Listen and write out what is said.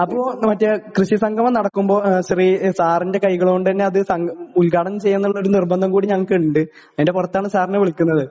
അപ്പൊ കൃഷി സംഗമം നടക്കുമ്പോൾ സാറിന്റെ കൈകൊണ്ട് തന്നെ അത് ഉദ്ഘാടനം ചെയ്യണം എന്ന ഒരു നിർബന്ധം കൂടി ഞങ്ങൾക്കുണ്ട് അതിന്റെ പുറത്താണ് സാറിനെ വിളിക്കുന്നത്